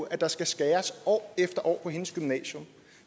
at der skal skæres år efter år på hendes gymnasium